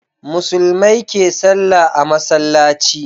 Musulmai ke sallah a masallaci